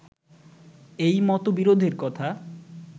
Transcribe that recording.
এই মতবিরোধের কথা